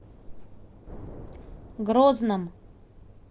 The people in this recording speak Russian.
грозном